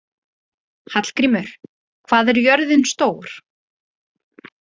Hallgrímur, hvað er jörðin stór?